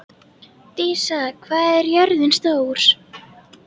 Dísa, hvað er jörðin stór?